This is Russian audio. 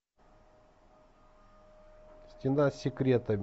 стена с секретами